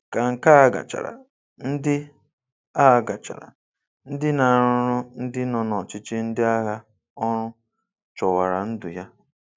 Ka nke a gachara, ndị a gachara, ndị na-arụrụ ndị nọ n'ọchịchị ndị agha ọrụ chọwara ndụ ya.